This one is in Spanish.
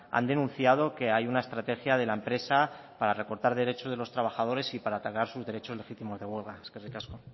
han denunciado que hay una estrategia de la empresa para recortar derechos de los trabajadores y para atacar sus derechos legítimos de huelga eskerrik asko